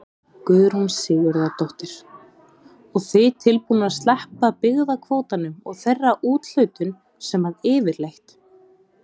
Guðrún Sigurðardóttir: Og þið tilbúnir að sleppa byggðakvótanum og þeirri úthlutun sem að yfirleitt?